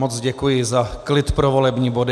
Moc děkuji za klid pro volební body.